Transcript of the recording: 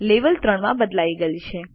level 3 માં બદલાઈ ગયેલ છે